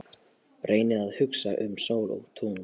Reyni að hugsa um sól og tungl.